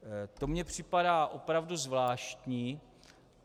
To mně připadá opravdu zvláštní.